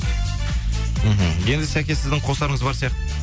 мхм енді сәке сіздің қосарыңыз бар сияқты